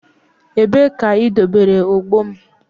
Ebee ka idobere ogbo m?